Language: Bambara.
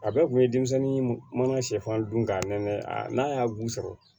A bɛɛ kun ye denmisɛnnin mana sɛfan dun ka nɛn n'a y'a bu sɔrɔ